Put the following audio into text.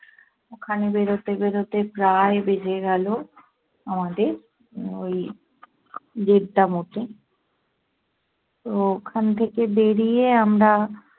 ওখানে বেড়োতে বেড়োতে প্রায় বেজে গেলো আমাদের ওই দেড়টা মতো। তো ওখান থেকে বেড়িয়ে আমরা